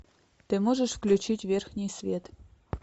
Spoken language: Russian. ты можешь включить верхний свет